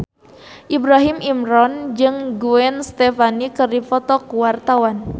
Ibrahim Imran jeung Gwen Stefani keur dipoto ku wartawan